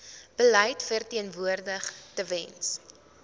beleid verteenwoordig tewens